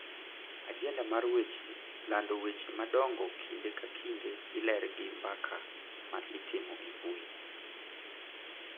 Ajenda mar weche lando weche madongo kinde ka kinde iler gi mbaka ma itimo e mbui